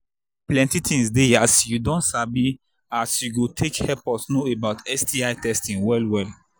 plenty things they as you don sabi as you go take help us know sti testing well well